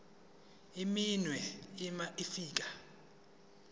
iminwe uma ufika